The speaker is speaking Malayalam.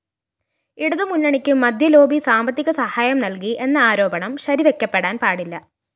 ഇടതുമുന്നണിക്ക് മദ്യലോബി സാമ്പത്തികസഹായം നല്‍കി എന്ന ആരോപണം ശരിവെക്കപ്പെടാന്‍ പാടില്ല